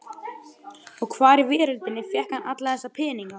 Og hvar í veröldinni fékk hann alla þessa peninga?